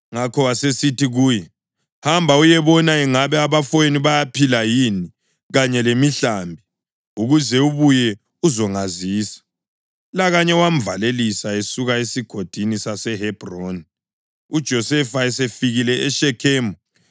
Ngakho wasesithi kuye, “Hamba uyebona ingabe abafowenu bayaphila yini kanye lemihlambi, ukuze ubuye uzongazisa.” Lakanye wamvalelisa esuka esigodini saseHebhroni. UJosefa esefikile eShekhemu,